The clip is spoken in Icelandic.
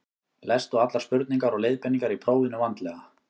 lestu allar spurningar og leiðbeiningar í prófinu vandlega